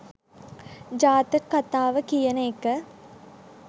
ජාතක කථාව කියන එක